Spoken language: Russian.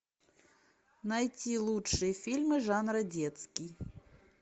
найти лучшие фильмы жанра детский